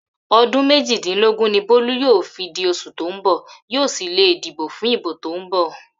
Odun mejidinlogun ni Bolu yoo fi di osu to n bo, yoo si le dibo fun ibo to n bo.